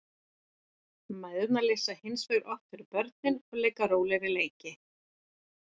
Mæðurnar lesa hins vegar oftar fyrir börnin og leika rólegri leiki.